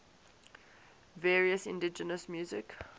various indigenous music